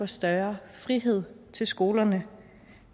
større frihed til skolerne